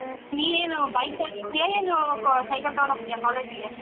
ನೀನ್ ಏನ್ bike ತಗೊಂಡು ಹೋಗ್ತಿಯ ಏನು cycle ತಗೊಂಡ್ಹೋಗ್ತಿಯಾ college ಗೆ?